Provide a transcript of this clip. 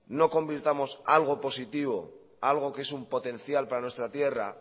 no convirtamos algo positivo algo que es un potencial para nuestra tierra